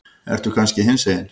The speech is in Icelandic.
Ertu kannski hinsegin?